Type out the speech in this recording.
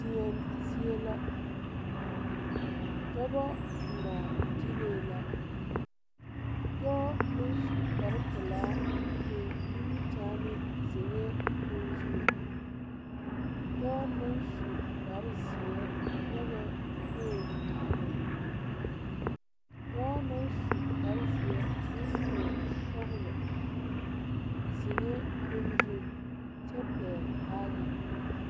Deɛn zie la dɔbɔ ngmaagyilee la dɔɔ naŋ su kparepelaa eŋ nimikyaane zeŋɛɛ koge zu dɔɔ naŋ su kpare zeɛ nyogɛɛ pool are dɔɔ naŋ su kpare zeɛ koo toɔ sɔglɔ zeŋɛɛ koge zu kyɛ pɛgle baagi.